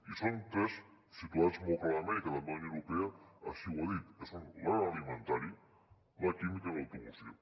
i són tres situats molt clarament i que també la unió europea així ho ha dit que són l’agroalimentari la química i l’automoció